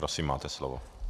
Prosím, máte slovo.